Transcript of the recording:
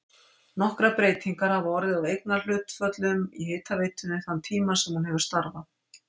Nokkrar breytingar hafa orðið á eignarhlutföllum í hitaveitunni þann tíma sem hún hefur starfað.